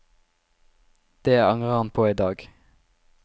Det angrer han på i dag.